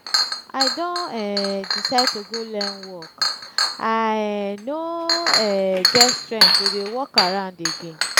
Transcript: i don um decide to go learn work i um no um get strength to dey walk around again